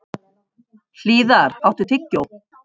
Hlíðar, áttu tyggjó?